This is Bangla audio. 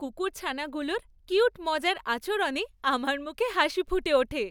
কুকুরছানাগুলোর কিউট মজার আচরণে আমার মুখে হাসি ফুটে ওঠে।